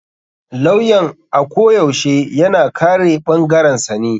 Lawyan ako yashe yana kare ɓangarensa ne.